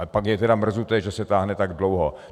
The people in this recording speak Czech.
Ale pak je tedy mrzuté, že se táhne tak dlouho.